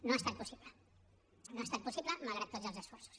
no ha estat possible no ha estat possible malgrat tots els esforços